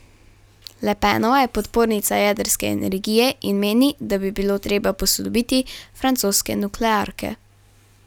Le Penova je podpornica jedrske energije in meni, da bi bilo treba posodobiti francoske nuklearke.